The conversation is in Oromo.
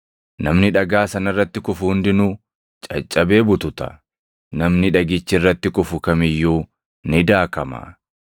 Namni dhagaa sana irratti kufu hundinuu caccabee bututa; namni dhagichi irratti kufu kam iyyuu ni daakama.”